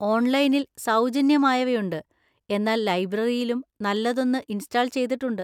ഓൺലൈനിൽ സൗജന്യമായവയുണ്ട്, എന്നാൽ ലൈബ്രറിയിലും നല്ലതൊന്ന് ഇൻസ്റ്റാൾ ചെയ്തിട്ടുണ്ട്.